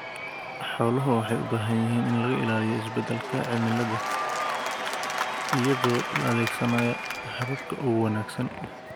Xooluhu waxay u baahan yihiin in laga ilaaliyo isbeddelka cimilada iyadoo la adeegsanayo hababka ugu wanaagsan.